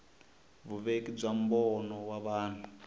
vuveki bya mbono wa vanhu